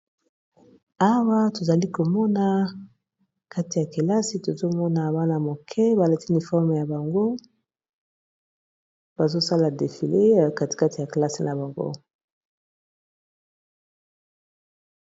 Awa tozali komona kati ya kelasi tozomona bana moke balati uniforme na bango, bazosala défilé katikati ya kelasi bango.